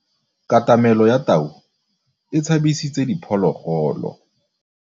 Katamêlô ya tau e tshabisitse diphôlôgôlô.